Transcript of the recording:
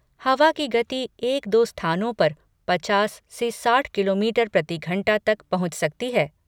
हवा की गति एक दो स्थानों पर पचास से साठ किलोमीटर प्रति घंटा तक पहुंच सकती है।